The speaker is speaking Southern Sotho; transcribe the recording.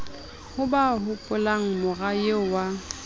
ha ba hopolamora eo wa